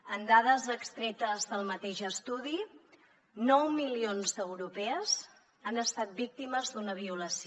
amb dades extretes del mateix estudi nou milions d’europees han estat víctimes d’una violació